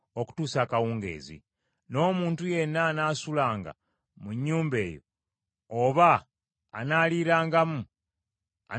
N’omuntu yenna anaasulanga mu nnyumba eyo oba anaaliirangamu, anaayozanga engoye ze.